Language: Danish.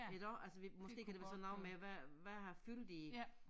Iggå altså vi måske kan det være sådan noget med hvad hvad har fyldt i